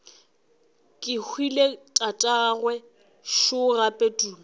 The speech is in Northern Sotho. kehwile tatagwe šo gape tumi